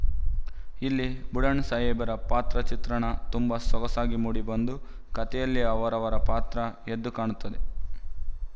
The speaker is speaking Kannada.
ಇಲ್ಲಿ ಬುಡಣಸಾಹೇಬರ ಪಾತ್ರ ಚಿತ್ರಣ ತುಂಬ ಸೊಗಸಾಗಿ ಮೂಡಿ ಬಂದು ಕಥೆಯಲ್ಲಿ ಅವರ ಪಾತ್ರ ಎದ್ದು ಕಾಣುತ್ತದೆ